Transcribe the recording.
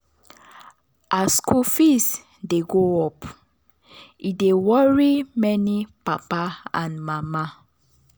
as school fees dey go up e dey worry many papa and mama.